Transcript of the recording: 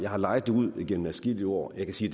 har lejet det ud igennem adskillige år jeg kan sige